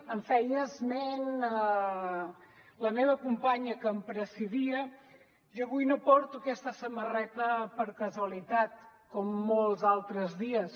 en feia esment la meva companya que em precedia jo avui no porto aquesta samarreta per casualitat com molts altres dies